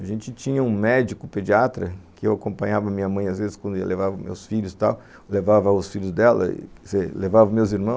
A gente tinha um médico pediatra, que eu acompanhava minha mãe às vezes quando eu levava meus filhos e tal, levava os filhos dela, levava meus irmãos.